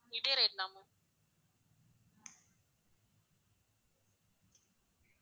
இதே rate தா ma'am